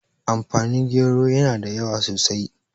amfani gero yana da yawa sosai